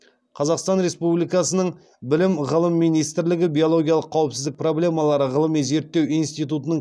биологиялық қауіпсіздік проблемалары ғылыми зерттеу институтының